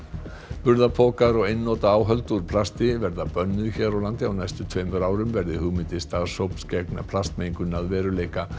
burðarpokar og einnota áhöld úr plasti verða bönnuð hér á landi á næstu tveimur árum verði hugmyndir starfshóps gegn plastmengun að veruleika